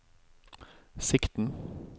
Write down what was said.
sikten